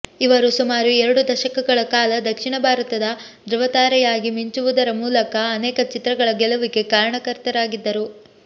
ಇವರು ಸುಮಾರು ಎರಡು ದಶಕಗಳ ಕಾಲ ದಕ್ಷಿಣ ಭಾರತದ ದೃವ ತಾರೆಯಗಿ ಮಿಂಚುವುದರ ಮೂಲಕ ಅನೇಕ ಚಿತ್ರಗಳ ಗೆಲುವಿಗೆ ಕಾರಣಕರ್ತರಾಗಿದ್ದರು